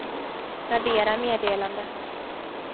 radera meddelande